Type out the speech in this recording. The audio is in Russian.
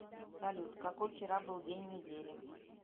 салют какой вчера был день недели